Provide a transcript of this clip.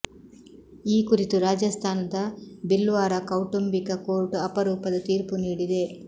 ಈ ಕುರಿತು ರಾಜಸ್ಥಾನದ ಭಿಲ್ವಾರ ಕೌಟುಂಬಿಕ ಕೋರ್ಟ್ ಅಪರೂಪದ ತೀರ್ಪು ನೀಡಿದೆ